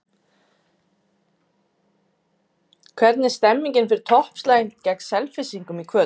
Hvernig er stemningin fyrir toppslaginn gegn Selfyssingum í kvöld?